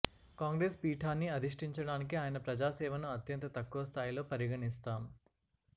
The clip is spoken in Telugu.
కాంగ్రెస్ పీఠాన్ని అధిష్టిం చడానికి ఆయన ప్రజా సేవను అత్యంత తక్కువ స్థాయిలో పరిగణి స్తాం